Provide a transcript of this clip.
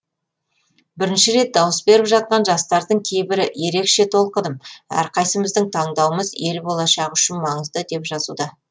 бірінші рет дауыс беріп жатқан жастардың кейбірі ерекше толқыдым әрқайсымыздың таңдауымыз ел болашағы үшін маңызды деп жазуда